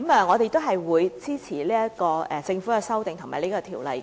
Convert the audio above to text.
我們會支持經政府修正的《條例草案》。